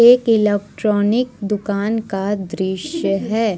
एक ईलक्ट्रॉनिक दुकान का दृश्य है।